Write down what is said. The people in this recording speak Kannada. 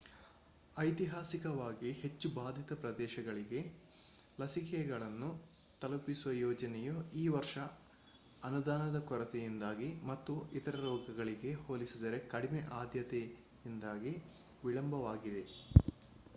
ಐತಿಹಾಸಿಕವಾಗಿ ಹೆಚ್ಚು ಬಾಧಿತ ಪ್ರದೇಶಗಳಿಗೆ ಲಸಿಕೆಗಳನ್ನು ತಲುಪಿಸುವ ಯೋಜನೆಯು ಈ ವರ್ಷ ಅನುದಾನದ ಕೊರತೆಯಿಂದಾಗಿ ಮತ್ತು ಇತರ ರೋಗಗಳಿಗೆ ಹೋಲಿಸಿದರೆ ಕಡಿಮೆ ಆದ್ಯತೆಯಿಂದಾಗಿ ವಿಳಂಬವಾಗಿದೆ